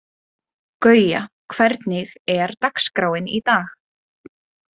Guja, hvernig er dagskráin í dag?